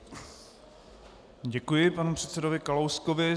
Děkuji panu předsedovi Kalouskovi.